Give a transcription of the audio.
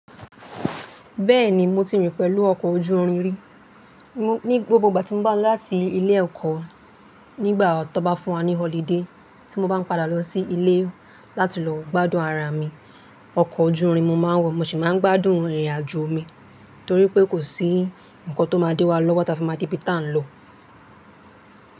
Bẹ́ẹ̀ni mo ti rìn pẹ̀lú ọkọ̀ ojú irin ri. Ni gbogbo ìgbà tí mo ń ba láti ilé ẹ̀kọ́ nígbà tó bá fún wa ní holiday tí mo bá ń padà lọ sí ilé láti lọ gbádùn ara mi, ọkọ̀ ojú irin mo máa ń wọ̀. Mo sì máa ń gbádùn ìrìnàjò mi torí pé kò sí ǹkan tó máa dé wa lọ́wọ́ ta fi máa de bí tá ń lọ.